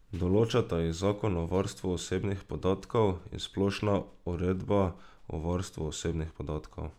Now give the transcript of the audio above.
Določata jih zakon o varstvu osebnih podatkov in splošna uredba o varstvu osebnih podatkov.